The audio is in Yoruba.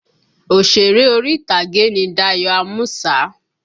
Òsèré orí ìtàgé ni Dayọ̀ Ámúsà